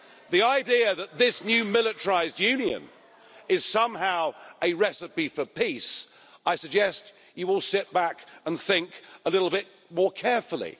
The idea that this new militarised Union is somehow a recipe for peace I suggest you will sit back and think a little bit more carefully.